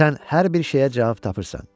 Sən hər bir şeyə cavab tapırsan.